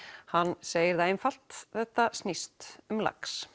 hann segir það einfalt þetta snýst um lax